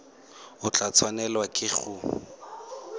o tla tshwanelwa ke go